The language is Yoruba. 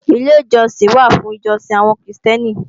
Ilé ìjọsìn wà fún ìjọsìn àwọn Krìstẹ́nì